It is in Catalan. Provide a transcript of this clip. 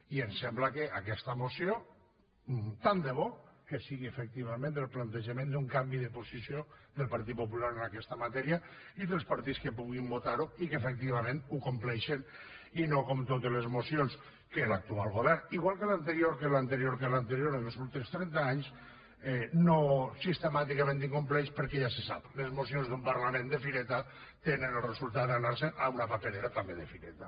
i ens sembla que aquesta moció tant de bo que sigui efectivament el plantejament d’un canvi de posició del partit popular en aquesta matèria i dels partits que puguin votar ho i que efectivament ho compleixen i no com totes les mocions que l’actual govern igual que l’anterior que l’anterior que l’anterior en els últims trenta anys sistemàticament incompleix perquè ja se sap les mocions d’un parlament de fireta tenen el resultat d’anar se’n a una paperera també de fireta